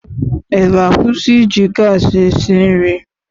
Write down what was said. Ị ga-akwụsị iji gaasị si nri?